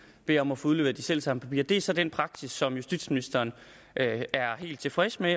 bedt om at få udleveret de selv samme papirer det er så den praksis som justitsministeren er helt tilfreds med